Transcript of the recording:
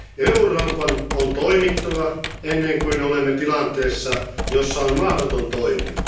Euroopan on toimittava ennen kuin olemme tilanteessa, jossa on mahdotonta toimia.